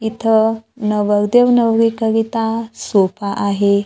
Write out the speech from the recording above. इथं नवरदेव नवरी करीता सोफा आहे.